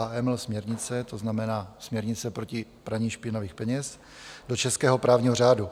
AML směrnice, to znamená směrnice proti praní špinavých peněz, do českého právního řádu.